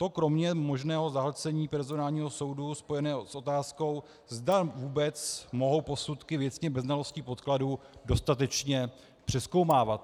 To kromě možného zahlcení personálního soudu spojeného s otázkou, zda vůbec mohou posudky věcně bez znalostí podkladů dostatečně přezkoumávat.